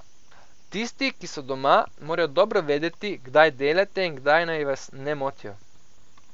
Tisti, ki so doma, morajo dobro vedeti, kdaj delate in kdaj naj vas ne motijo.